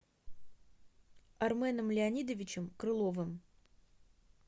арменом леонидовичем крыловым